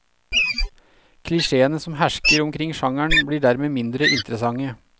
Klisjeene som hersker omkring sjangeren blir dermed mindre interessante.